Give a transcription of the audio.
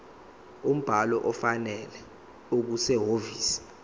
umbhalo ofanele okusehhovisi